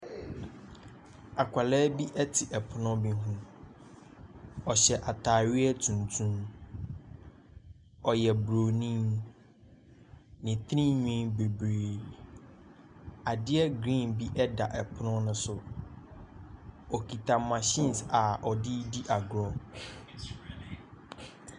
Akwadaa bi te pono bi ho. Ɔhyɛ atadeɛ tuntum. Ɔyɛ Buronin. Ne tirinwi bebree. Adeɛ green bi da pono no so. Ɔkita machines a ɔde redi agorɔ.